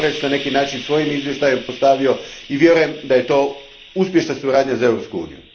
Gorentz na neki način svojim izvještajem postavio i vjerujem da je to uspješna suradnja za Europsku uniju.